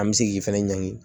An bɛ se k'i fɛnɛ ɲangi